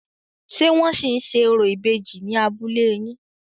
Ṣé wọ́n ṣì ń ṣe orò ìbejì ní abúlé yín?